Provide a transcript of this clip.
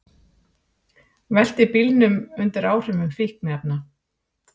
Velti bíl undir áhrifum fíkniefna